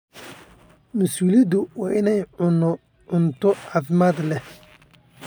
Mas'uuliyaddayadu waa inaan cunno cunto caafimaad leh.